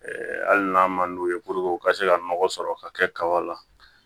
hali n'a man d'u ye u ka se ka nɔgɔ sɔrɔ ka kɛ kaba la